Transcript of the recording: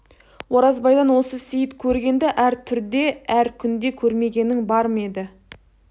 оразбайдан осы сейіт көргенді әр түрде әр күнде көрмегенің бар ма еді